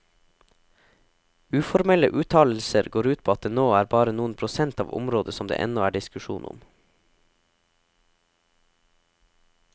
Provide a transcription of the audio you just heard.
Uformelle uttalelser går ut på at det nå er bare noen prosent av området som det ennå er diskusjon om.